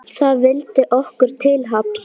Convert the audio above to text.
Það vildi okkur til happs.